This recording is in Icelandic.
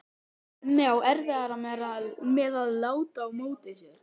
Hemmi á erfiðara með að láta á móti sér.